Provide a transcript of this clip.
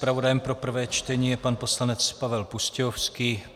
Zpravodajem pro prvé čtení je pan poslanec Pavel Pustějovský.